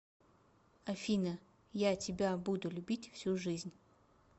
афина я тебя буду любить всю жизнь